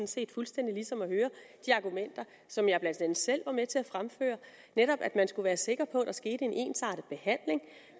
set fuldstændig ligesom at høre de argumenter som jeg blandt andet selv var med til at fremføre netop at man skulle være sikker på at der skete en ensartet behandling